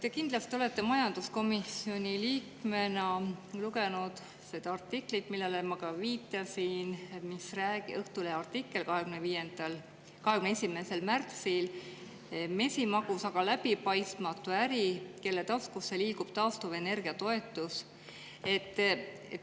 Te kindlasti olete majanduskomisjoni liikmena lugenud seda artiklit, millele ma viitasin, Õhtulehe artiklit 21. märtsist, "Mesimagus, aga läbipaistmatu äri: kelle taskusse liigub taastuvenergia toetus ?".